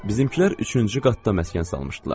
Bizimkilər üçüncü qatda məskən salmışdılar.